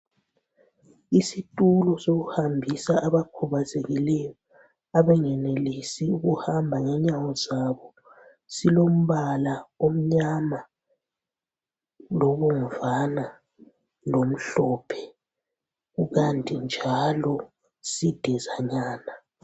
Isitulo sokuhambisa abakhubazekileyo , abangenelisi ukuhamba ngenyawo zabo . Silombala omnyama lobomvana lomhlophe kukanti njalo sidizanyana.